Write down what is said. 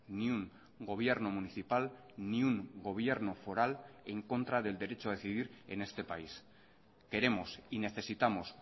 ni un gobierno municipal ni un gobierno foral en contra del derecho a decidir en este país queremos y necesitamos